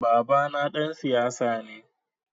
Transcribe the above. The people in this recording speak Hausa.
Babana ɗan siyasa ne.